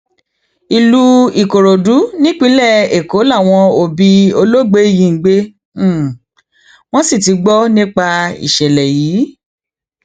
ìlú ìkòròdú nípínlẹ èkó làwọn òbí olóògbé yìí ń gbé wọn sì ti gbọ nípa ìṣẹlẹ yìí